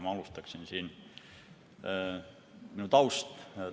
Ma alustan oma taustast.